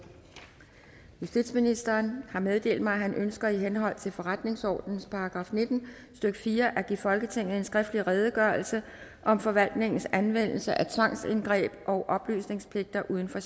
justitsministeren har meddelt mig at han ønsker i henhold til forretningsordenens § nitten stykke fire at give folketinget en skriftlig redegørelse om forvaltningens anvendelse af tvangsindgreb og oplysningspligter uden for